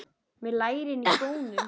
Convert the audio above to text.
Með lærin í skónum.